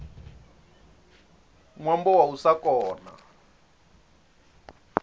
ṅwambo wa u sa kona